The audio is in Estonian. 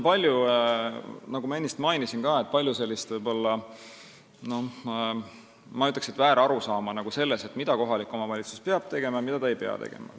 Nagu ma ennist mainisin, siin on palju selliseid, ma ütleks, väärarusaamu selle kohta, mida kohalik omavalitsus peab tegema ja mida ta ei pea tegema.